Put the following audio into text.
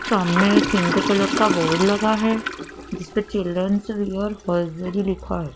सामने एक pink colour का बोर्ड लगा है जिसपे चिल्ड्रेन्स वेयर होजीयरी लिखा है।